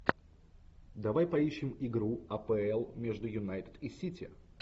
давай поищем игру апл между юнайтед и сити